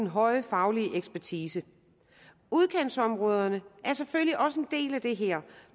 høje faglige ekspertise udkantsområderne er selvfølgelig også en del af det her